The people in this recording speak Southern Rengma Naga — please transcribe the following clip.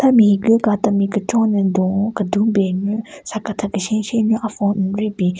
Ame higu ka temi kechon no dun-o kedun ben nyu sakethyü keshen keshen nyu a-phone n-ri bin.